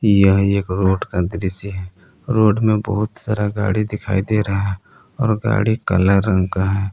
यह एक रोड का दृश्य है रोड में बहुत सारा गाड़ी दिखाई दे रहा है और गाड़ी काला रंग का है।